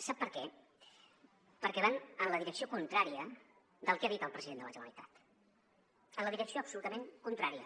sap per què perquè van en la direcció contrària del que ha dit el president de la generalitat en la direcció absolutament contrària